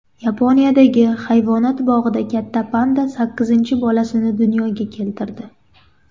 Yaponiyadagi hayvonot bog‘ida katta panda sakkizinchi bolasini dunyoga keltirdi.